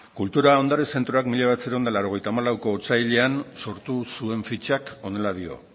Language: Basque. kultura ondare zentroak mila bederatziehun eta laurogeita hamalauko otsailean sortu zuen fitxak honela dio